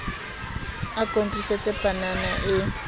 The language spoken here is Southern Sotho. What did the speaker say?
a ko ntlisetse panana e